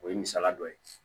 O ye misaliya dɔ ye